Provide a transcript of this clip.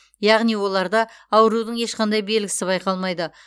яғни оларда аурудың ешқандай белгісі байқалмайды